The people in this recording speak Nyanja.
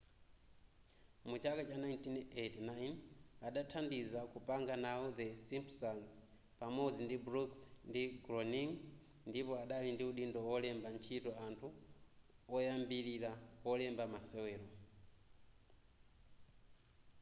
mu chaka cha 1989 adathandiza kupanga nawo the simpsons pamodzi brooks ndi groening ndipo dali ndi udindo olemba ntchito anthu oyambilira olemba masewero